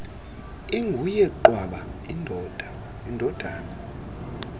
inguye qwaba indodana